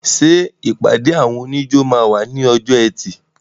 Ṣé ìpàdé àwọn oníjó máa wà ní ọjọ́ ẹtì?